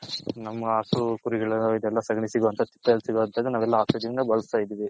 ನಮ್ಮ ಹಸು ಕುರಿಗಲ್ಲೇಲ ಸಗಣಿ ಬಳಸ್ತೈದಿವಿ.